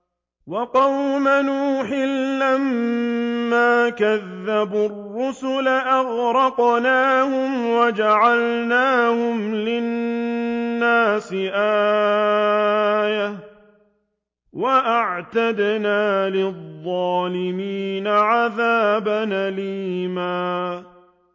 وَقَوْمَ نُوحٍ لَّمَّا كَذَّبُوا الرُّسُلَ أَغْرَقْنَاهُمْ وَجَعَلْنَاهُمْ لِلنَّاسِ آيَةً ۖ وَأَعْتَدْنَا لِلظَّالِمِينَ عَذَابًا أَلِيمًا